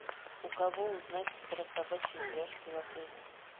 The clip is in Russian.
у кого узнать про собачьи упряжки в отеле